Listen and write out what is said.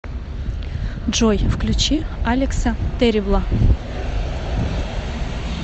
джой включи алекса террибла